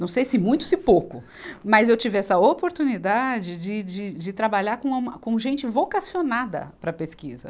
Não sei se muito ou se pouco, mas eu tive essa oportunidade de, de, de trabalhar com uma, com gente vocacionada para a pesquisa.